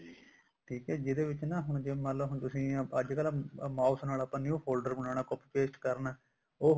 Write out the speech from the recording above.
ਠੀਕ ਹੈ ਜਿਹਦੇ ਵਿੱਚ ਨਾ ਹੁਣ ਮੰਨਲੋ ਹੁਣ ਤੁਸੀਂ ਅੱਜਕਲ mouse ਨਾਲ ਆਪਾਂ new folder ਬਣਾਉਣਾ ਆਪਾਂ copy paste ਕਰਨਾ ਉਹ